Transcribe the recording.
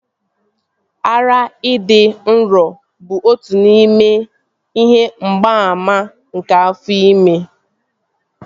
Ara ịdị nro bụ otu n'ime ihe mgbaàmà nke afọ ime